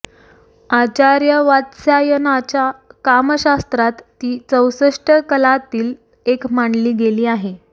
आचार्य वात्स्यायनाच्या कामशास्त्रात ती चौसष्ट कलांतील एक मानली गेली आहे